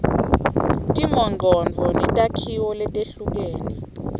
timongcondvo netakhiwo letehlukene